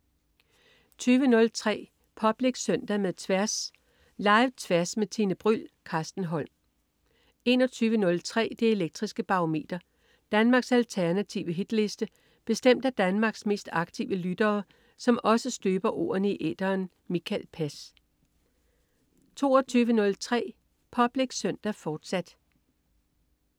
20.03 Public Søndag med Tværs. Live-Tværs med Tine Bryld. Carsten Holm 21.03 Det elektriske Barometer. Danmarks alternative hitliste bestemt af Danmarks mest aktive lyttere, som også støber ordene i æteren. Mikael Pass 22.03 Public Søndag, fortsat